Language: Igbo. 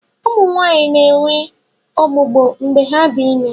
Ụmụ Nwaanyị na-enwe ọgbụgbọ mgbe ha dị ime.